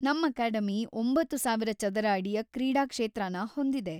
ನಮ್ ಅಕಾಡೆಮಿ ಒಂಬತ್ತು ಸಾವಿರ ಚದರ ಅಡಿಯ ಕ್ರೀಡಾ ಕ್ಷೇತ್ರನ ಹೊಂದಿದೆ.